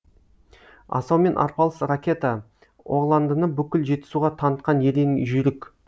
асаумен арпалыс ракета оғландыны бүкіл жетісуға танытқан ерен жүйрік